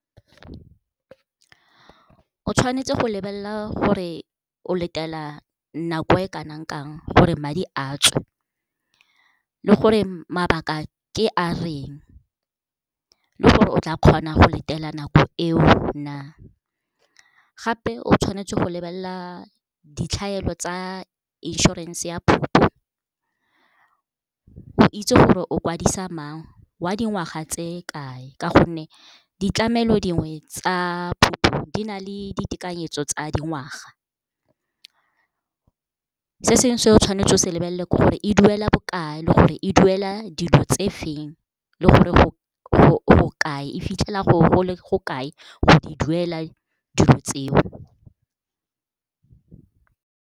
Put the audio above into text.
O tshwanetse go lebelela gore o letela nako e kanang kang gore madi a tswe le gore mabaka ke a reng le gore o tla kgona go letela nako eo na. Gape o tshwanetse go lebelela ditlhaelo tsa insurance ya o itse gore o kwadisa mang wa dingwaga tse kae, ka gonne ditlamelo dingwe tsa di na le ditekanyetso tsa dingwaga. Se sengwe se o tshwanetse o se lebelele ke gore e duela bokae le gore e duela dilo tse feng le gore go kae e fitlhela go kae go di duela dilo tseo.